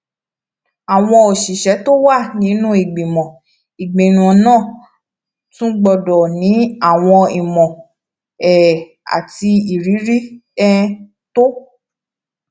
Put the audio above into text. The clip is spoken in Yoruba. àwọn òṣìṣẹ tó wà nínú ìgbìmọ ìgbìmọ náà tún gbódò ní àwọn ìmọ um àti ìrírí um tó